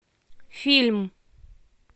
фильм